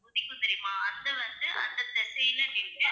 உதிக்கும் தெரியுமா அந்த வந்து அந்த திசைல நின்னு